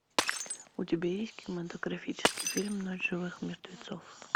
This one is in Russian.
у тебя есть кинематографический фильм ночь живых мертвецов